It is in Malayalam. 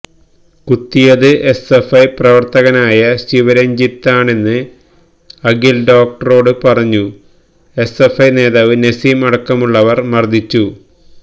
കുത്തിയത് എസ്എഫ്ഐ പ്രവര്ത്തകനായ ശിവരഞ്ജിത്താണെന്ന് അഖില് ഡോക്ടറോട് പറഞ്ഞു എസ്എഫ്ഐ നേതാവ് നസീം അടക്കമുള്ളവര് മര്ദിച്ചു